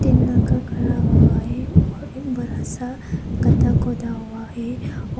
तीन लड़का खड़ा हुआ है और एक बड़ा सा गड्ढा खोदा हुआ है और--